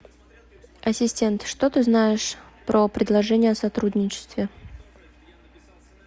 ассистент что ты знаешь про предложение о сотрудничестве